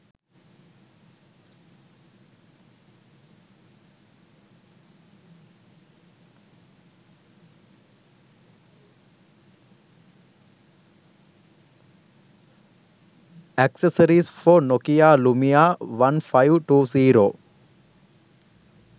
accessories for nokia lumia 1520